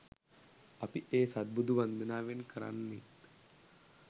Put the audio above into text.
අපි ඒ සත්බුදු වන්දනාවෙන් කරන්නෙත්